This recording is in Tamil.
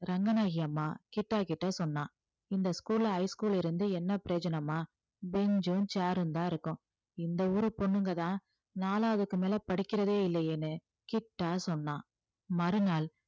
ரங்கநாயகி அம்மா கிட்டா கிட்ட சொன்னா இந்த school ல high school ல இருந்து என்ன பிரயோஜனம்மா பெஞ்சும் chair ரும்தான் இருக்கும் இந்த ஊரு பொண்ணுங்கதான் நாலாவதுக்கு மேல படிக்கிறதே இல்லையேன்னு கிட்டா சொன்னான் மறுநாள்